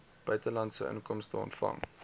buitelandse inkomste ontvang